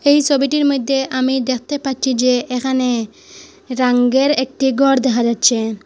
এই সবিটির মইদ্যে আমি দেখতে পাচ্ছি যে এখানে রাঙ্গের একটি গর দেহা যাচ্ছে।